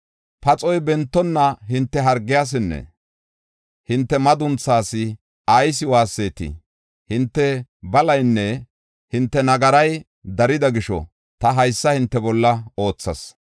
Paxoy bentonna hinte hargiyasinne hinte madunthaas ayis waassetii? Hinte balaynne hinte nagaray darida gisho ta haysa hinte bolla oothas.